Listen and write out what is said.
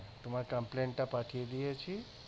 তোমার complaint টা পাঠিয়ে দিয়েছি